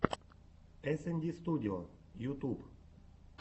эсэнди студио ютуб